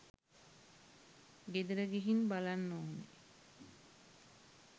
ගෙදර ගිහින් බලන්න ඕන.